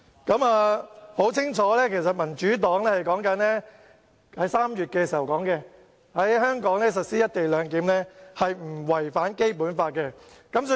大家可以清楚地看到，民主黨在3月表示，在香港實施"一地兩檢"不違《基本法》。